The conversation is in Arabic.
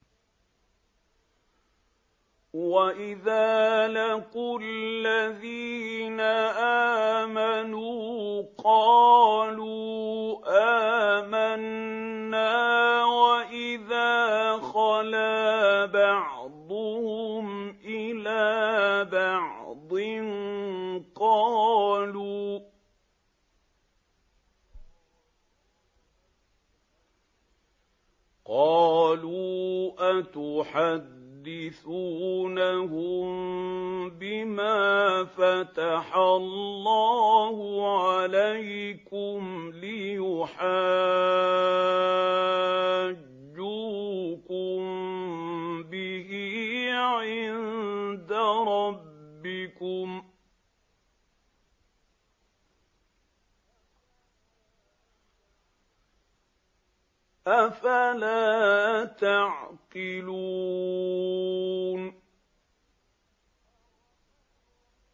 وَإِذَا لَقُوا الَّذِينَ آمَنُوا قَالُوا آمَنَّا وَإِذَا خَلَا بَعْضُهُمْ إِلَىٰ بَعْضٍ قَالُوا أَتُحَدِّثُونَهُم بِمَا فَتَحَ اللَّهُ عَلَيْكُمْ لِيُحَاجُّوكُم بِهِ عِندَ رَبِّكُمْ ۚ أَفَلَا تَعْقِلُونَ